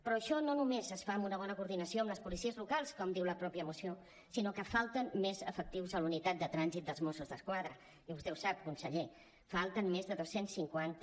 però això no només es fa amb una bona coordinació amb les policies locals com diu la mateixa moció sinó que falten més efectius a la unitat de trànsit dels mossos d’esquadra i vostè ho sap conseller falten més de dos cents cinquanta